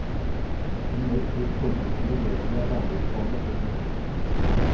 Generelt vil forbundsstyret bedre rammevilkårene for industrien.